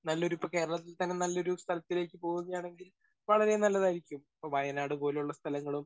Speaker 1 നല്ലൊരു ഇപ്പോ കേരളത്തിൽത്തന്നെ നല്ലൊരു സ്ഥലത്തിലേക്ക് പോവുകയാണെങ്കിൽ വളരെ നല്ലതായിരിക്കും. ഇപ്പോ വയനാട് പോലുള്ള സ്ഥലങ്ങളും